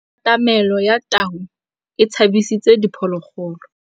Katamêlô ya tau e tshabisitse diphôlôgôlô.